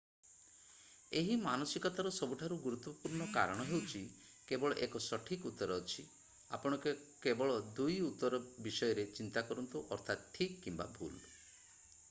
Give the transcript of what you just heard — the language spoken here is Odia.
ଏହି ମାନସିକତାର ସବୁଠାରୁ ଗୁରୁତ୍ୱପୂର୍ଣ୍ଣ କାରଣ ହେଉଛି କେବଳ 1 ସଠିକ୍ ଉତ୍ତର ଅଛି ଆପଣ କେବଳ 2 ଉତ୍ତର ବିଷୟରେ ଚିନ୍ତା କରନ୍ତୁ ଅର୍ଥାତ ଠିକ କିମ୍ବା ଭୁଲ